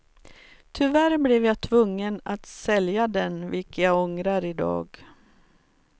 Tyvärr blev jag tvungen att sälja den vilket jag ångrar idag.